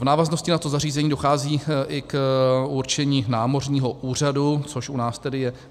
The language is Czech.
V návaznosti na to nařízení dochází i k určení námořního úřadu, což u nás tedy je